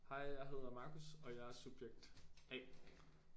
Hej jeg hedder Marcus og jeg er subjekt A